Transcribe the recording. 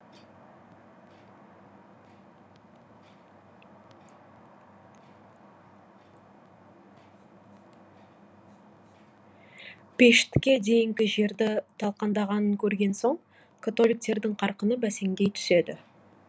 пештке дейінгі жерді талқандағанын көрген соң католиктердің қарқыны бәсеңдей түседі